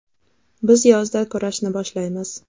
Biz yozda kurashni boshlaymiz.